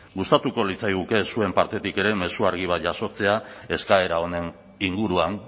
gustatuko litzaiguke zuen partetik ere mezu argi bat jasotzea eskaera honen inguruan